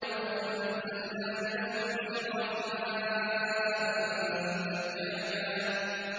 وَأَنزَلْنَا مِنَ الْمُعْصِرَاتِ مَاءً ثَجَّاجًا